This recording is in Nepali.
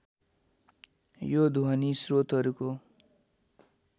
यो ध्वनि स्रोतहरूको